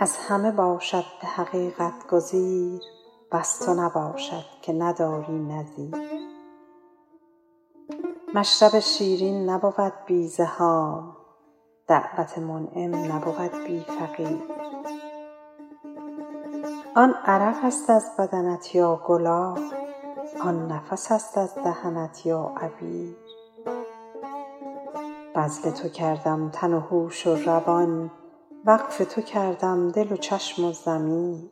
از همه باشد به حقیقت گزیر وز تو نباشد که نداری نظیر مشرب شیرین نبود بی زحام دعوت منعم نبود بی فقیر آن عرق است از بدنت یا گلاب آن نفس است از دهنت یا عبیر بذل تو کردم تن و هوش و روان وقف تو کردم دل و چشم و ضمیر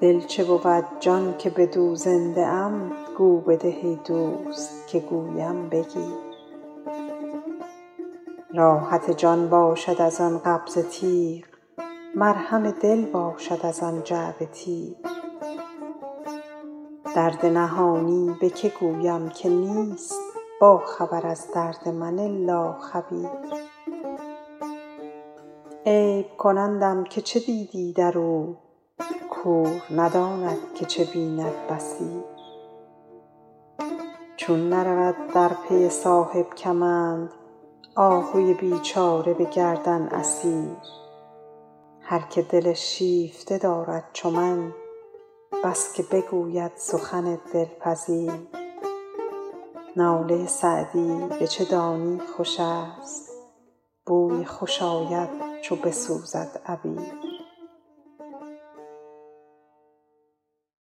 دل چه بود جان که بدو زنده ام گو بده ای دوست که گویم بگیر راحت جان باشد از آن قبضه تیغ مرهم دل باشد از آن جعبه تیر درد نهانی به که گویم که نیست باخبر از درد من الا خبیر عیب کنندم که چه دیدی در او کور نداند که چه بیند بصیر چون نرود در پی صاحب کمند آهوی بیچاره به گردن اسیر هر که دل شیفته دارد چو من بس که بگوید سخن دلپذیر ناله سعدی به چه دانی خوش است بوی خوش آید چو بسوزد عبیر